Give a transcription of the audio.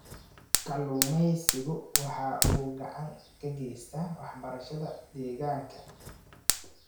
Kalluumaysigu waxa uu gacan ka geystaa waxbarashada deegaanka.